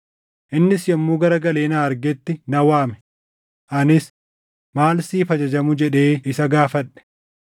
Innis yommuu garagalee na argetti na waame; anis, ‘Maal siif ajajamu?’ jedhee isa gaafadhe.